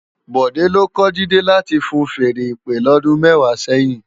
Bode ló kò Jide láti fúùn fèèrè ìpè lòdún mèwá sèyin